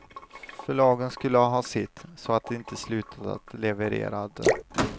Förlagen skulle ha sitt, så att de inte slutade att levererade.